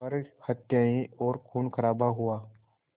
पर हत्याएं और ख़ूनख़राबा हुआ